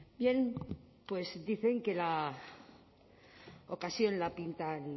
bien pues dicen que la ocasión la pintan